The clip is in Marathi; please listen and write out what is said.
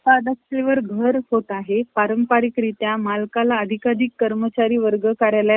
घेतली तर निवृत्तीवेतन मिळणार नव्हते. बा~ बाया कर्वे म्हणत. घर-खर्च कसा चालवायचा?